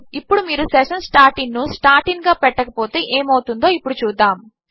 ఇప్పుడు మీరు session starting ను స్టార్ట్ ఇన్ గా పెట్టకపోతే ఏమి అవుతుందో ఇప్పుడు చూద్దాము